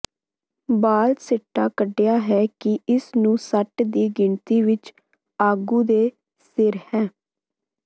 ਬਾਲ ਸਿੱਟਾ ਕੱਢਿਆ ਹੈ ਕਿ ਇਸ ਨੂੰ ਸੱਟ ਦੀ ਗਿਣਤੀ ਵਿਚ ਆਗੂ ਦੇ ਸਿਰ ਹੈ